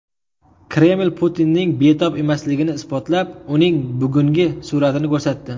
Kreml Putinning betob emasligini isbotlab, uning bugungi suratini ko‘rsatdi.